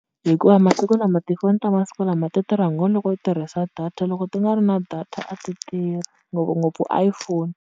Hikuva masiku lama tifoni ta masiku lama ti tirha ngo loko u tirhisa data loko ti nga ri na data a ti tirhi, ngopfungopfu iPhone.